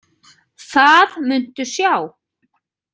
Það muntu sjá.